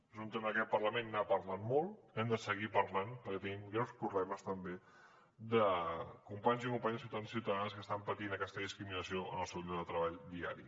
és un tema que aquest parlament n’ha parlat molt n’hem de seguir parlant perquè tenim greus problemes també de companys i companyes ciutadans i ciutadanes que estan patint aquesta discriminació en el seu lloc de treball diari